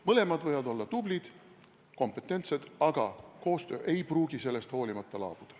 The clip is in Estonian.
Mõlemad võivad olla tublid ja kompetentsed, aga koostöö ei pruugi sellest hoolimata laabuda.